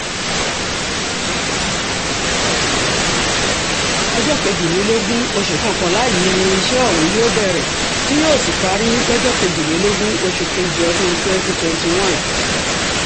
ọjọ́ kejìlélógún oṣù kọkànlá yìí ni iṣẹ́ ọ̀hún yóò bẹ̀rẹ̀ tí yóò sì parí lọ́jọ́ kejìlélógún oṣù kejì ọdún twenty twenty one